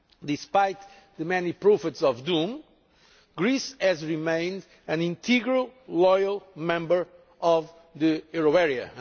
Despite the many prophets of doom, Greece has remained an integral, loyal, member of the euro area.